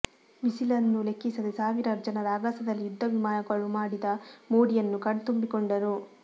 ಬಿಸಿಲನ್ನೂ ಲೆಕ್ಕಿಸದೇ ಸಾವಿರಾರು ಜನರು ಆಗಸದಲ್ಲಿ ಯುದ್ಧ ವಿಮಾಗಳು ಮಾಡಿದ ಮೋಡಿಯನ್ನು ಕಣ್ತುಂಬಿಕೊಂಡರು